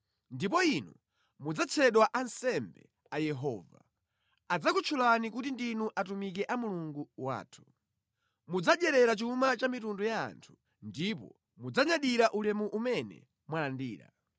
Ndipo inu mudzatchedwa ansembe a Yehova, adzakutchulani kuti ndinu atumiki a Mulungu wathu. Mudzadyerera chuma cha mitundu ya anthu, ndipo mudzanyadira ulemu umene mwalandira.